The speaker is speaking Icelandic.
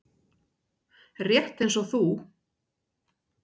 Rétt eins og þú.